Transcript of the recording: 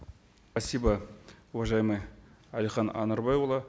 спасибо уважаемый әлихан анарбайұлы